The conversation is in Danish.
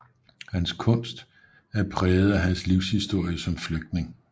Hans kunst er præget af hans livshistorie som flygtning